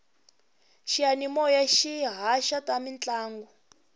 xiyanimoya xi haxa ta mintlangu